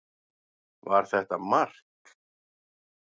Var þetta mark?